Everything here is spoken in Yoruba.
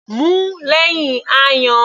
Mu ú lẹ́hìn ayan.